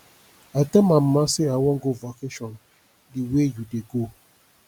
i tell my mama say i wan go vacation the way you dey go